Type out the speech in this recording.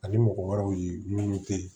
Ani mɔgɔ wɛrɛw ye minnu te yen